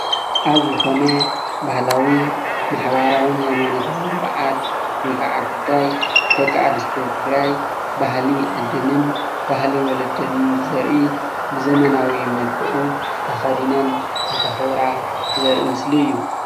ኣብ ዝኮነ ባህላዊ ማሕበራዉን ህይማኖታዊ በዓል ወይ ከዓ ጉዳይ ደቂ ኣንስትዮ ትግራይ ባህሊ ዓደንን ባህሊ ወለደንን ብዘርኢ ብዘመናዊ መልኽዑ ተክዲነን እንተክብራ ዘሪኢ ምስሊ እዩ።